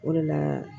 O de la